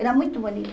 Era muito bonito.